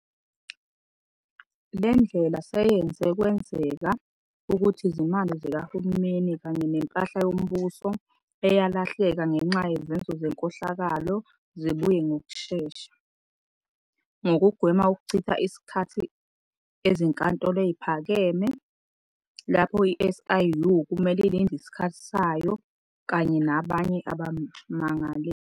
Le ndlela seyenze kwenzeka ukuthi izimali zikahulumeni kanye nempahla yombuso eyalahleka ngenxa yezenzo zenkohlakalo zibuye ngokushesha, ngokugwema ukuchitha isikhathi ezinkantolo eziphakeme, lapho i-SIU kumele ilinde isikhathi sayo kanye nabanye abamangaleli.